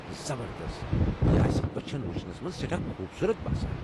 زبردست! یہِ آسہِ اچھن وچھنَس مَنٛز سٮ۪ٹھاہ خوبصوٗت باسان.